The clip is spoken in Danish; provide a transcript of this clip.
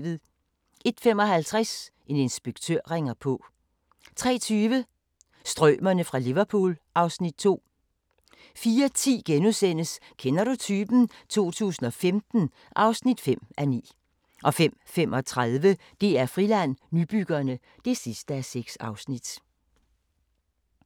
01:55: En inspektør ringer på 03:20: Strømerne fra Liverpool (Afs. 2) 04:10: Kender du typen? 2015 (5:9)* 05:35: DR-Friland: Nybyggerne (6:6)